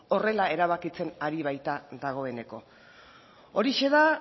horrela erabakitzen ari baita dagoeneko horixe da